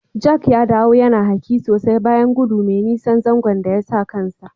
Jack ya dawo yana hake sosai bayan godu mai nisan zanzo da yasa kansa.